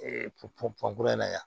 pɔn pɔn pankurun in na yan